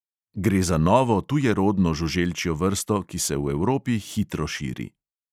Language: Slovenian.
Gre za novo tujerodno žuželčjo vrsto, ki se v evropi hitro širi.